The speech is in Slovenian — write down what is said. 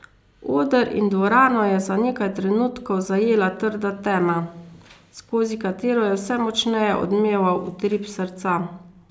Oder in dvorano je za nekaj trenutkov zajela trda tema, skozi katero je vse močneje odmeval utrip srca.